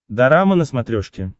дорама на смотрешке